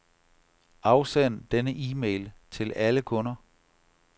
Afsend denne e-mail til alle kunder.